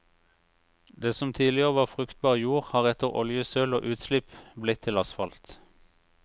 Det som tidligere var fruktbar jord har etter oljesøl og utslipp blitt til asfalt.